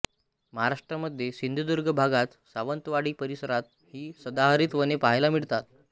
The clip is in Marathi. महाराष्ट्रामध्ये सिंधुदुर्ग भागात सावंतवाडी परिसरात ही सदाहरित वने पाहायला मिळतात